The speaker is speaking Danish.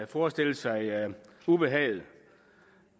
forestille sig ubehaget